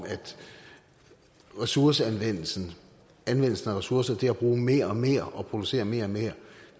ressourceanvendelsen anvendelsen af ressourcer til at bruge mere og mere og producere mere og mere